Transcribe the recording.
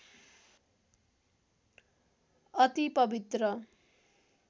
अति पवित्र